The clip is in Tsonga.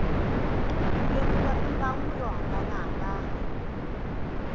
ku lemuka mimbangu yo hambanahambana